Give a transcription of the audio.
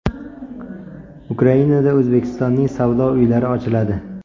Ukrainada O‘zbekistonning savdo uylari ochiladi.